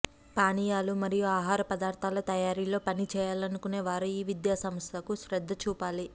పానీయాలు మరియు ఆహార పదార్ధాల తయారీలో పనిచేయాలనుకునే వారు ఈ విద్యా సంస్థకు శ్రద్ధ చూపాలి